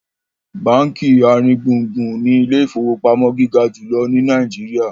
bánkì aringbungbun ní Ilé ìfowópamọ́ gíga jùlọ ní Nàìjíríà.